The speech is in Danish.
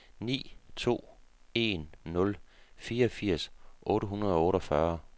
ni to en nul fireogfirs otte hundrede og otteogfyrre